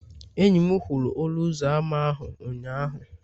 enyi m kwụrụ ọnụ ụzọ ámá ahụ ụnyahụ.